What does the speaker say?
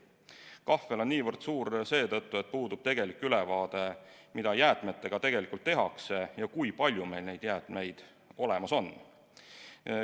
Kahvel on niivõrd suur seetõttu, et puudub tegelik ülevaade, mida jäätmetega tegelikult tehakse ja kui palju meil neid jäätmeid olemas on.